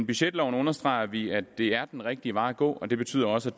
budgetloven understreger vi at det er den rigtige vej at gå det betyder også